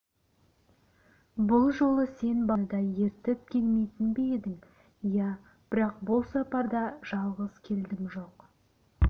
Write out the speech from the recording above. бұл жолы сен баланы да ертіп келмейтін бе едің иә бірақ бұл сапарда жалғыз келдім жоқ